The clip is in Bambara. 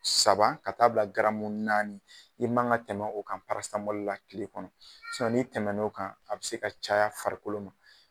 Saba ka taa'a bila garamu naani, i man ŋa tɛmɛ o kan la tile kɔnɔ n'i tɛmɛn'o kan, a bɛ se ka caya farikolo ma.